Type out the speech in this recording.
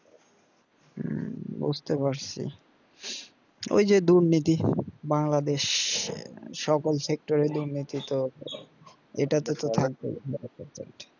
হম বুজতে পারছি ওই যে দুর্নীতি বাংলাদেশ সকল sector এ দুর্নীতি এটাতো তে থাকবেই